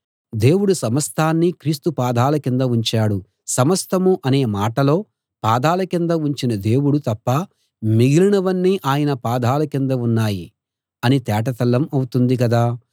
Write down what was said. దేవుడు సమస్తాన్నీ క్రీస్తు పాదాల కింద ఉంచాడు సమస్తం అనే మాటలో పాదాల కింద ఉంచిన దేవుడు తప్ప మిగిలినవన్నీ ఆయన పాదాల కింద ఉన్నాయి అని తేటతెల్లం అవుతుంది కదా